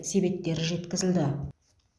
себеттері жеткізілді